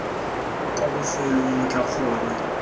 kwa bofelong lo tla kgona